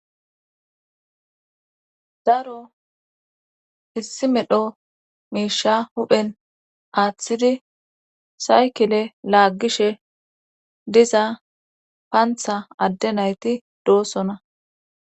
Daro issi medho miisha huphen aaththidi saykile laaggishe diza paantha adde nayti doossona.